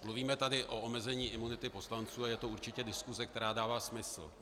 Mluvíme tady o omezení imunity poslanců a je to určitě diskuse, která dává smysl.